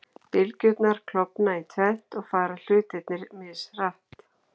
Bylgjurnar klofna í tvennt og fara hlutarnir mishratt.